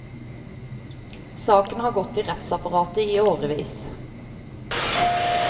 Saken har gått i rettsapparatet i årevis.